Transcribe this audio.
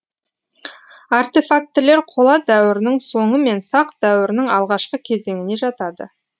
артефактілер қола дәуірінің соңы мен сақ дәуірінің алғашқы кезеңіне жатады